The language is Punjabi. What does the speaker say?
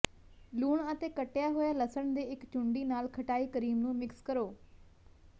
ਲੂਣ ਅਤੇ ਕੱਟਿਆ ਹੋਇਆ ਲਸਣ ਦੇ ਇੱਕ ਚੂੰਡੀ ਨਾਲ ਖਟਾਈ ਕਰੀਮ ਨੂੰ ਮਿਕਸ ਕਰੋ